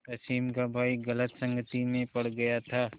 रश्मि का भाई गलत संगति में पड़ गया था